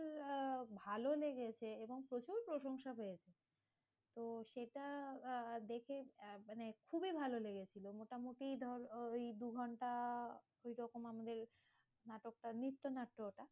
আহ ভালো লেগেছে এবং প্রচুর প্রশংসা পেয়েছে। তো সেটা আ দেখে মানে খুবই ভালো লেগেছিল। মোটামুটি ধরো ওই দু-ঘন্টা ওই রকম আমাদের নাটকটা নৃত্যনাট্য,